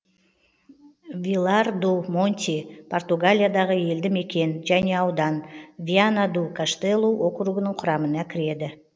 вилар ду монти португалиядағы елді мекен және аудан виана ду каштелу округінің құрамына кіреді